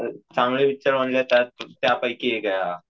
चांगले विचार मांडले जातात, त्यापैकी एक आहे हा.